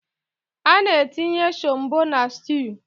Ana-etinye shombọ na styuu.